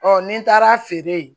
ni n taara feere